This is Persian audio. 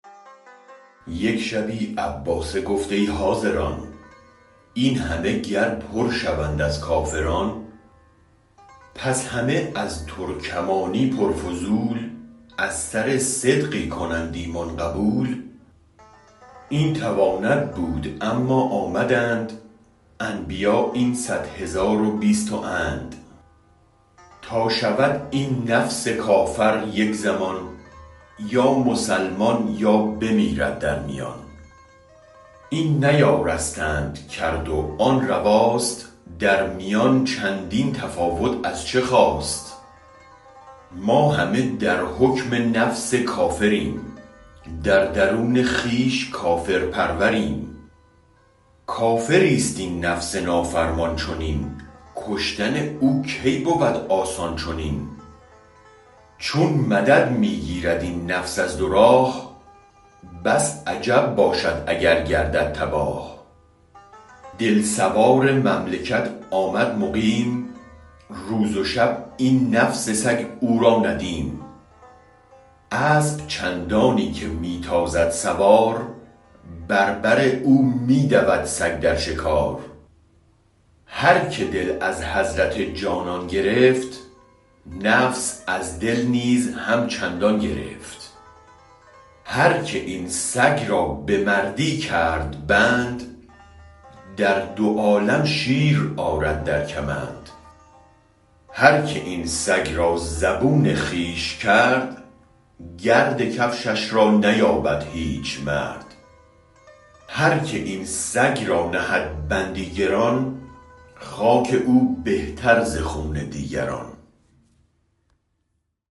یک شبی عباسه گفت ای حاضران این همه گر پر شوند از کافران پس همه از ترکمانی پر فضول از سر صدقی کنند ایمان قبول این تواند بود اما آمدند انبیا این صد هزار و بیست و اند تا شود این نفس کافر یک زمان یا مسلمان یا بمیرد در میان این نیارستند کرد و آن رواست در میان چندین تفاوت از چه خاست ما همه در حکم نفس کافریم در درون خویش کافر پروریم کافریست این نفس نافرمان چنین کشتن او کی بود آسان چنین چون مدد می گیرد این نفس از دو راه بس عجب باشد اگر گردد تباه دل سوار مملکت آمد مقیم روز و شب این نفس سگ او را ندیم اسب چندانی که می تازد سوار بر بر او می دود سگ در شکار هرک دل از حضرت جانان گرفت نفس از دل نیز هم چندان گرفت هرک این سگ را به مردی کرد بند در دو عالم شیرآرد در کمند هرک این سگ را زبون خویش کرد گرد کفشش را نیابد هیچ مرد هرک این سگ را نهد بندی گران خاک او بهتر ز خون دیگران